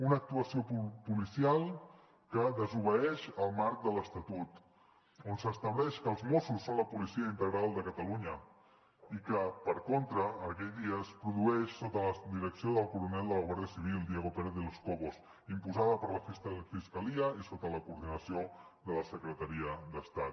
una actuació policial que desobeeix el marc de l’estatut on s’estableix que els mossos són la policia integral de catalunya i que per contra aquell dia es produeix sota la direcció del coronel de la guardia civil diego pérez de los cobos imposada per la fiscalia i sota la coordinació de la secretaria d’estat